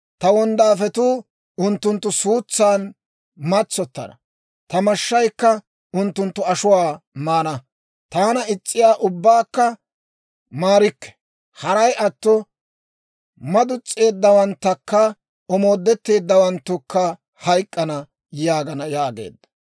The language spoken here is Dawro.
Ta wonddaafetuu unttunttu suutsan matsottana; ta mashshaykka unttunttu ashuwaa maana. Taana is's'iyaa ubbaakka maarikke. Haray atto madus's'eeddawanttunne omooddetteeddawanttukka hayk'k'ana» yaagana yaageedda.